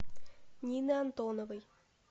нины антоновой